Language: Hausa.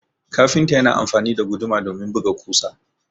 kafinta yana amfani da guduma domin buga kusa